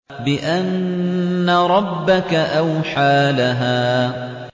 بِأَنَّ رَبَّكَ أَوْحَىٰ لَهَا